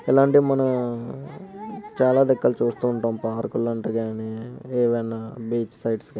అలాంటిది మనం చాలా చూస్తూ ఉంటాం. పార్క్ లాంటిది గాని ఏదైనా బీచ్ సైడ్స్ గాని